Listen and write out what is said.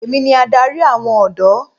Èmi ni adarí àwọn ọ̀dọ́.